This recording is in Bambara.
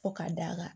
Fo ka d'a ka